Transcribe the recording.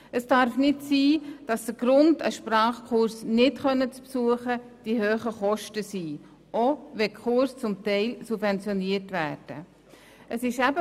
Es darf nicht sein, dass ein Sprachkurs, selbst wenn er subventioniert wird, wegen zu hoher Kosten nicht besucht werden kann.